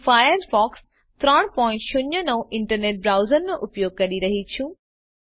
હું Firefox 309 internet બ્રાઉઝરનો ઉપયોગ કરી રહી છું